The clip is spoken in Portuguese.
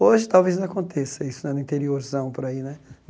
Hoje, talvez, aconteça isso né, no interiorzão, por aí né.